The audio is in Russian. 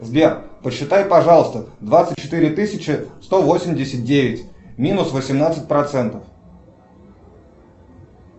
сбер посчитай пожалуйста двадцать четыре тысячи сто восемьдесят девять минус восемнадцать процентов